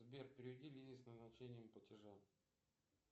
сбер переведи лизе с назначением платежа